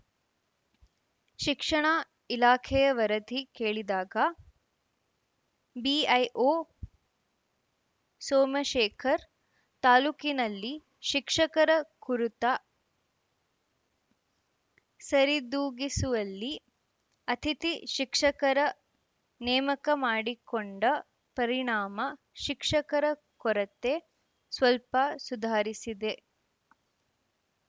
ಶಿಕ್ಷಣ ಇಲಾಖೆಯ ವರದಿ ಕೇಳಿದಾಗ ಬಿಐಒ ಸೋಮಶೇಖರ್‌ ತಾಲೂಕಿನಲ್ಲಿ ಶಿಕ್ಷಕರ ಕುರಿತ ಸರಿದೂಗಿಸುವಲ್ಲಿ ಅತಿಥಿ ಶಿಕ್ಷಕರ ನೇಮಕ ಮಾಡಿಕೊಂಡ ಪರಿಣಾಮ ಶಿಕ್ಷಕರ ಕೊರತೆ ಸ್ವಲ್ಪ ಸುಧಾರಿಸಿದೆ